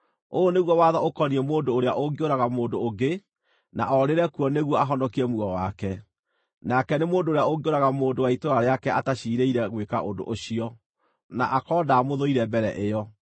Ũyũ nĩguo watho ũkoniĩ mũndũ ũrĩa ũngĩũraga mũndũ ũngĩ na oorĩre kuo nĩguo ahonokie muoyo wake, nake nĩ mũndũ ũrĩa ũngĩũraga mũndũ wa itũũra rĩake ataciirĩire gwĩka ũndũ ũcio, na akorwo ndaamũthũire mbere ĩyo.